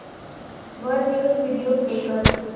वर news video play कर